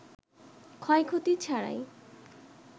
ক্ষয়ক্ষতি ছাড়াই